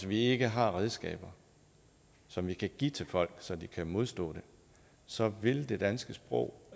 vi ikke har redskaber som vi kan give til folk så de kan modstå det så vil det danske sprog